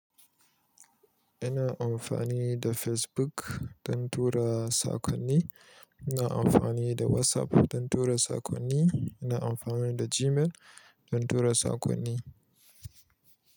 Ina amfani da Facebook dan tura saƙonni. Ina amfani da WhatsApp don tura saƙonni. Ina amfani da Gmail don tura saƙonni.